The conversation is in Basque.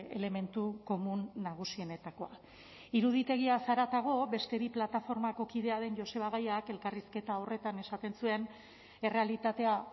elementu komun nagusienetakoa iruditegiaz haratago beste bi plataformako kidea den joseba gayak elkarrizketa horretan esaten zuen errealitatea